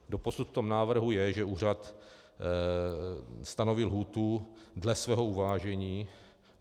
Doposud v tom návrhu je, že úřad stanoví lhůtu dle svého uvážení.